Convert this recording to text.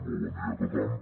molt bon dia a tothom